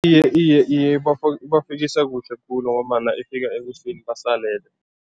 Iye, iye, iye, ibafisa kuhle khulu ngombana ifika ekuseni basalele.